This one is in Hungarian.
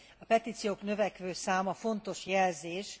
A petíciók növekvő száma fontos jelzés.